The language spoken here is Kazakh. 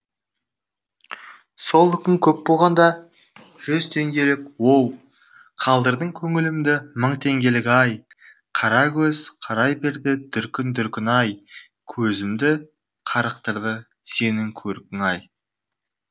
сол үкің көп болғанда жүз теңгелік оу қалдырдың көңілімдімың теңгелік ай қара көз қарай берді дүркін дүркін ай көзімді қарықтырды сенің көркің ай